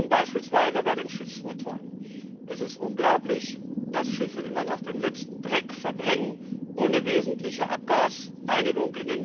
Und beispielsweise bei den Schiffsmotoren Es ist unglaublich, dass Schiffe immer noch den letzten Dreck verbrennen, in den meisten Fällen ohne wesentliche Abgasreinigung.